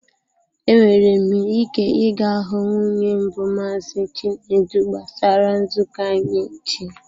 Enwere m ike ị ga hụ nwunye mbụ Maazị Chinedu gbasara nzukọ anyị echi.